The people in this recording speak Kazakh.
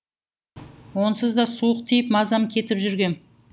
онсыз да суық тиіп мазам кетіп жүргем